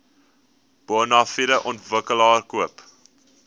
bonafide ontwikkelaar koop